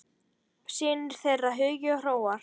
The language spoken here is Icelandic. Synir þeirra Hugi og Hróar.